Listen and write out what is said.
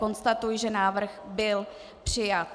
Konstatuji, že návrh byl přijat.